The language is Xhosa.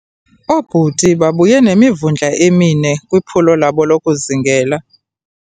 Oobhuti babuye nemivundla emine kwiphulo labo lokuzingela.